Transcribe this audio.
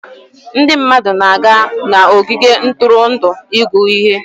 Ndị mmadụ na-aga n'ogige ntụrụndụ ịgụ ihe.